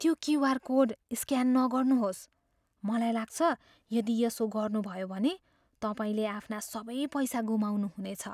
त्यो QR code scan नगर्नुहोस्। मलाई लाग्छ, यदि यसो गर्नुभयो भने, तपाईँले आफ्ना सबै पैसा गुमाउनुहुनेछ।